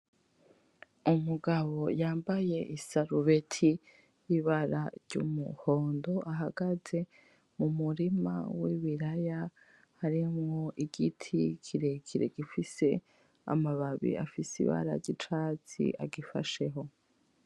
Umugabo yambaye isarubeti yibara ry'umuhondo ahagaze mumurima wibiraya harimwo igiti kirekire gifise amababi afise ibara ryicatsi agifasheho